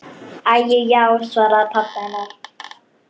Æi já, svaraði pabbi hennar.